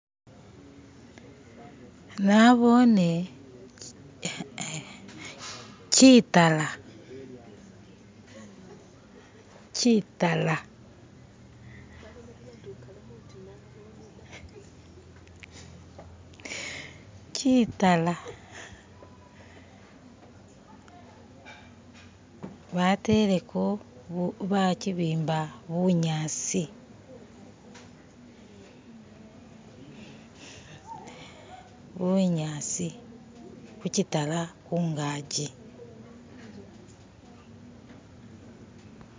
Naboone kitaala kitaala kitaala bateleko, bakibimba bunyaasi bunyaasi hukitaala hungaji.